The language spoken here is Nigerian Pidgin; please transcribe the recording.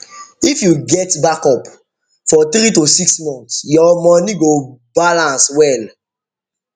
if you get backup for three to six months your money money go balance well